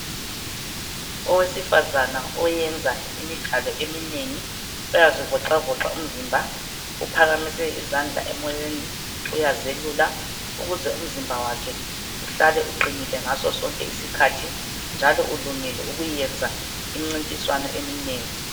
Owesifazana oyenza imidlalo eminengi. Uyazivoxavoxa umzimba uphakamise izandla emoyeni uyazelula. Ukuze umzimba wakhe uhlale uqinilile ngasosonke isikhathi njalo ulungele ukuyenza imcintiswano eminengi.